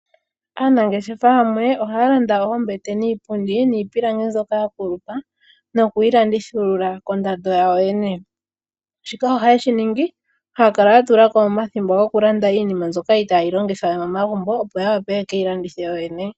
Aanangeshefa yamwe ohaya landa oombete, niipundi, niipilangi mbyoka ya kulupa noku yilanduthulula kondando yawo yene. Shika ohaye shi ningi haya kala yatula ko omathimbo gokulanda iinima mbyoka itaayi longithwa we momagumbo opo ya wape ye ke yi landithe yoyene.